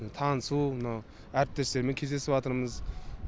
танысу мынау әріптестермен кездесіватырмыз